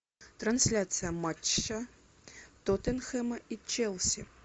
трансляция матча тоттенхэма и челси